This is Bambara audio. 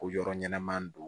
Ko yɔrɔ ɲɛnama don